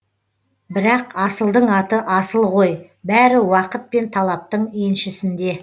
бірақ асылдың аты асыл ғой бәрі уақыт пен талаптың еншісінде